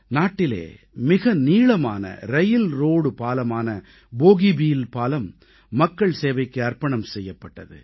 நாட்டிலே மிக நீளமான ரயில்ரோடு பாலமான போகிபீல் பாலம் மக்கள் சேவைக்கு அர்ப்பணம் செய்யப்பட்டது